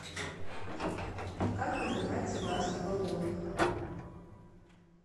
как называется газ в баллонах